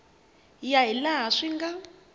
ya hi laha swi nga